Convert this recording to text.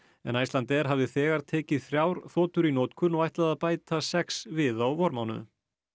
en Icelandair hafði þegar tekið þrjár þotur í notkun og ætlaði að bæta sex við á vormánuðum